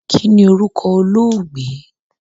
Kínní orúkọ olóògbé?